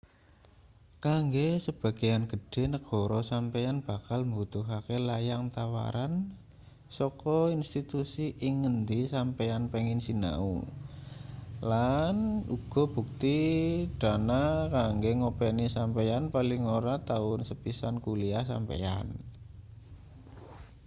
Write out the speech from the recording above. kanggo sebagean gedhe negara sampeyan bakal mbutuhake layang tawaran saka institusi ing ngendi sampeyan pengin sinau lan uga bukti dana kanggo ngopeni sampeyan paling ora taun sepisan kuliah sampeyan